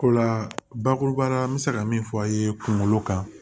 Ko la bakuruba la n bɛ se ka min fɔ aw ye kunkolo kan